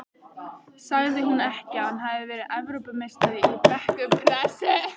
Sagði hún ekki að hann hefði verið Evrópumeistari í bekkpressu?